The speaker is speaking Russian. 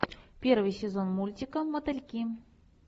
первый сезон мультика мотыльки